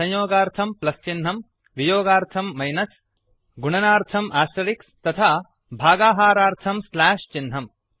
संयोगार्थं plus चिह्नम् वियोगार्थं minus गुणनार्थम् आस्टरिक् तथा भागाहारार्थं स्ल्याश् चिह्नम्